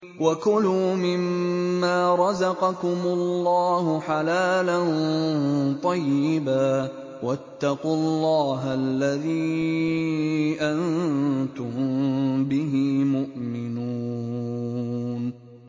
وَكُلُوا مِمَّا رَزَقَكُمُ اللَّهُ حَلَالًا طَيِّبًا ۚ وَاتَّقُوا اللَّهَ الَّذِي أَنتُم بِهِ مُؤْمِنُونَ